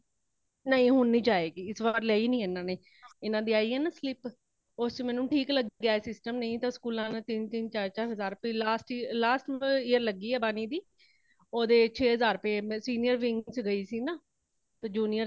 ਨਹੀਂ ਹੁਣ ਨਹੀਂ ਜਾਏਗੀ | ਏਸ ਵਾਰ ਲਈਂ ਨਹੀਂ ਇਨ੍ਹਾਂਨੇ ,ਏਨਾ ਦੀ ਆਈ ਹੈ ਨਾ slip ਉਸ ਚ ਮੈਨੂੰ ਠੀਕ ਲੱਗਿਆਂ ਇਹ system ਨਹੀਂ ਤਾ school ਚ ਤੀਨ ਤੀਨ ਹਜ਼ਾਰ ਰੁਪਈਏ last year ਲੱਗੀ ਹੈ ਬਾਣੀ ਦੀ ਓਦੇ ਛੇ ਹਜ਼ਾਰ ਰੁਪਈਏ senior wing ਚ ਗਈ ਸੀਨਾ ਤੇ junior wing